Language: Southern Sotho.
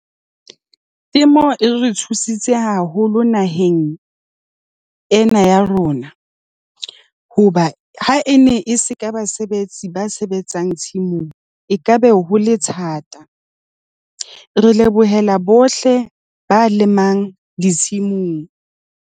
Ke mo e re thusitse haholo naheng ena ya rona. Hoba ha e ne e se ka basebetsi ba sebetsang tshimong ekaba ho le thata, re lebohela bohle ba lemang ditshimong.